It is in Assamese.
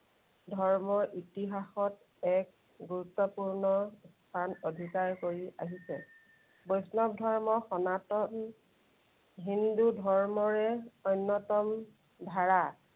ধৰ্মৰ ইতিহাসত এক গুৰুত্বপূৰ্ণ স্থান অধিকাৰ কৰি আহিছে। বৈষ্ণৱ ধৰ্ম সনাতন হিন্দু ধৰ্মৰে অন্য়তম ধাৰা।